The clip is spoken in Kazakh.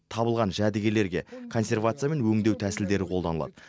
табылған жәдігерлерге консервация мен өңдеу тәсілдері қолданылады